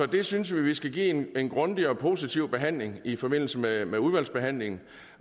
det synes jeg vi skal give en grundig og positiv behandling i forbindelse med med udvalgsbehandlingen